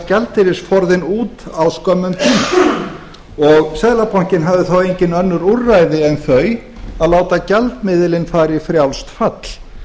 gjaldeyrisforðinn út á skömmum tíma og seðlabankinn hafði þá engin önnur úrræði en þau að láta gjaldmiðilinn fara í frjálst fall